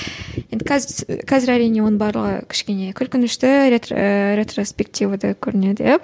енді қазір әрине оның барлығы кішкене күлкінішті ретроспективада көрінеді иә